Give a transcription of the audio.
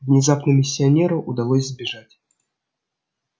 внезапно миссионеру удалось сбежать